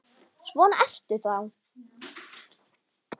Svona ertu þá!